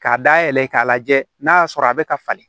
K'a dayɛlɛ k'a lajɛ n'a y'a sɔrɔ a bɛ ka falen